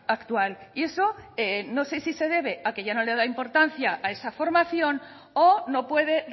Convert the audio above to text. actual y eso no sé si se debe a que ya no le da importancia a esa formación o no puede